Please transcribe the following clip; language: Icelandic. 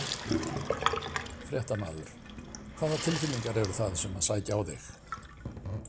Fréttamaður: Hvaða tilfinningar eru það sem að sækja á þig?